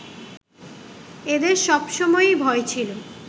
এদের সব সময়েই ভয় ছিল